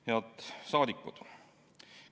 Head rahvasaadikud!